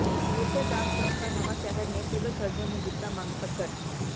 ਨੇਤਰਦਾਨ ਸੰਸਥਾ ਨਵਾਂਸ਼ਹਿਰ ਨੇ civil surgeon ਨੂੰ ਦਿੱਤਾ ਮੰਗ ਪੱਤਰ